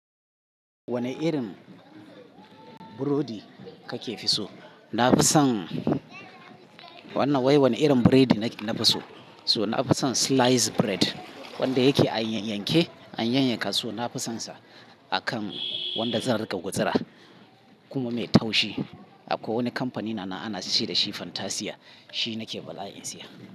Wane irin burodi kake fi so? Na fi son wannan wai wane irin burodi nake na fi so? So na fi son sliced bread wanda yake a yayyanke, an yayyanka su So na, fi sonsa akan wanda zan riƙa gutsura kuma mai taushi. Akwai wani kamfani na na, ana ce da shi Fantasia, shi nake bala'in siya.